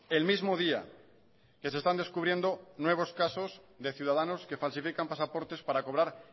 el mismo día que se están descubriendo nuevos casos de ciudadanos que falsifican pasaportes para cobrar